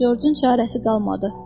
Corcun çarəsi qalmadı.